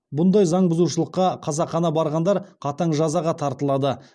бұндай заң бұзушылыққа қасақана барғандар қатаң жазаға тартылады